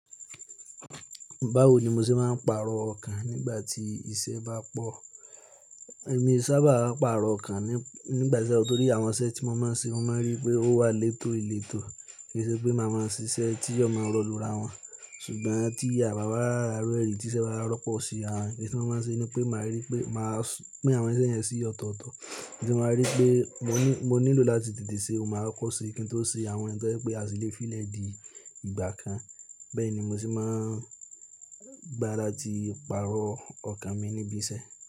Báwo ni mo ṣe máa ń pàrọ̀ ọkàn nígbà tí iṣẹ́ bá pọ̀? Èmi sábà máa ń pàrọ̀ ọkàn nígbà tí ẹ̀, torí àwọn iṣẹ́ tí mo máa ń ṣe, mo máa ń rí pé ó wà létò ìletò. Kì í ṣe pé màá máa ṣiṣẹ́ tí ó máa rọ lura wọn. Ṣùgbọ́n tí a bá ri ara irure ri, tiṣẹ́ bá rọ́pọ̀ sí àrin, oun ti mo máa ń ṣe ni pé màá rí pé màá, pin àwọn iṣẹ́ yẹn ṣí ọ̀tọ̀ọ̀tọ̀. Iyin ti mo máa rí pé mo ní, mo nílò láti tètè ṣe, oun ni máa koko ṣe, kí n tó ṣe àwọn tó jẹ́ pé a ṣì lè fílẹ̀ di ìgbà kan. Bẹ́ẹ̀ ni mo sì máa ń gbá láti pàrọ̀ ọkàn mi níbi iṣẹ́.